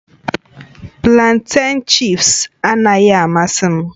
Planten chị́ps anaghị amasị m